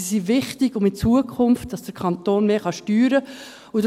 Sie sind wichtig, damit der Kanton in Zukunft mehr steuern kann.